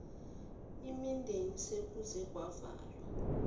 imideni sekuze kwavalwa